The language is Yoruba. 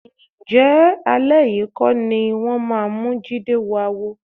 Ǹjẹ́ alẹ́ yìí kọ́ ni wọ́n máa mú Jídé wọ àwo?